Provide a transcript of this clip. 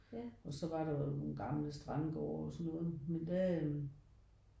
Og så var der nogle gamle strandgårde og sådan noget men der